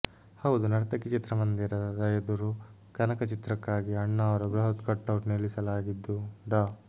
ಹೌದು ನರ್ತಕಿ ಚಿತ್ರಮಂದಿರದ ಎದುರು ಕನಕ ಚಿತ್ರಕ್ಕಾಗಿ ಅಣ್ಣಾವ್ರ ಬೃಹತ್ ಕಟೌಟ್ ನಿಲ್ಲಿಸಲಾಗಿದ್ದು ಡಾ